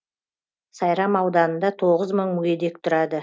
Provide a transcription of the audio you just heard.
сайрам ауданында тоғыз мың мүгедек тұрады